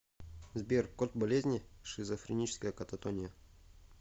сбер код болезни шизофреническая кататония